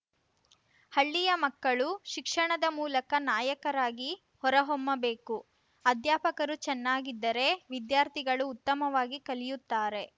ಹಳ್ಳಿಯ ಮಕ್ಕಳು ಶಿಕ್ಷಣದ ಮೂಲಕ ನಾಯಕರಾಗಿ ಹೊರಹೊಮ್ಮಬೇಕು ಅಧ್ಯಾಪಕರು ಚೆನ್ನಾಗಿದ್ದರೆ ವಿದ್ಯಾರ್ಥಿಗಳು ಉತ್ತಮವಾಗಿ ಕಲಿಯುತ್ತಾರೆ